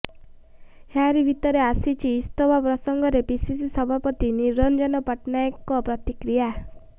ଏହାରି ଭିତରେ ଆସିଛି ଇସ୍ତଫା ପ୍ରସଙ୍ଗରେ ପିସିସି ସଭାପତି ନିରଞ୍ଜନ ପଟ୍ଟନାୟକଙ୍କ ପ୍ରତିକ୍ରିୟା